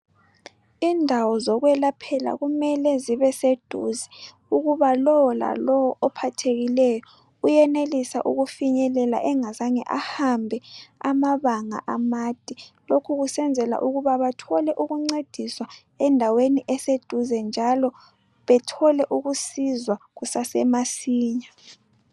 indawo zokwelaphela kumele zibe seduze ukuba lowo lalowo ophathekileyo uyenelisa ukufinyelela angazange ahambe amabanga amade lokhu kusenzelwa ukuba bathole ukuncediswa endaweni eseduze njalo bethole ukusizwa kusase masinya